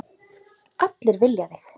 Allir vilja þig.